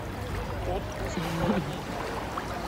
отпуск по ранению